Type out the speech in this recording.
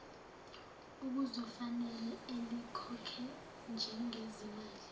okuzofanele alikhokhe njengezimali